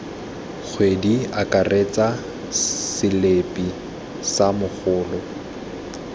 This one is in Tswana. kgwedi akaretsa selipi sa mogolo